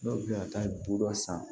Dɔw bɛ ka taa bɔrɔ san